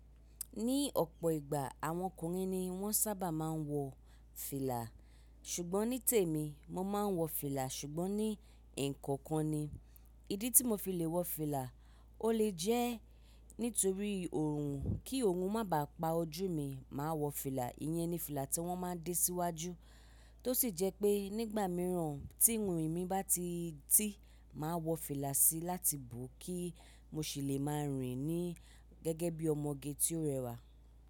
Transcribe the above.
Ní ọ̀pọ̀ ìgbà, àwọn ọkùnrin ni wọ́n sábà má a ń wọ fìlà, ṣùgbọ́n ní tèmi mo má ń wọ fìlà ṣùgbọ́n ní ekookan kan ni. Ìdí tí mo fi le wọ fìlà, o le jẹ́ nítorí òòrùn, kí òòrùn má bàá pa ojú mi, màá wọ fìlà. Iyẹn ni fìlà tí wọ́n máa dé síwájú. Tó sì jẹ́ pé nígbà mìíràn tí ìrìn mí bá ti tí, màá wọ fìlà sí láti bo kí mo sì lè máa rìn ni gẹ́gẹ́ bí ọmọge tí ó rẹwà.